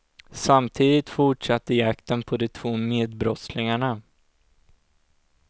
Samtidigt fortsatte jakten på de två medbrottslingarna.